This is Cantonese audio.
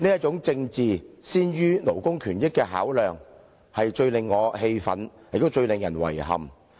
這種政治先於勞工權益的考量，最令我氣憤，亦最令人遺憾。